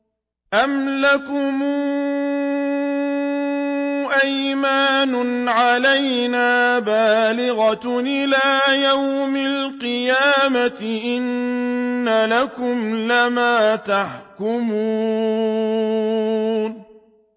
أَمْ لَكُمْ أَيْمَانٌ عَلَيْنَا بَالِغَةٌ إِلَىٰ يَوْمِ الْقِيَامَةِ ۙ إِنَّ لَكُمْ لَمَا تَحْكُمُونَ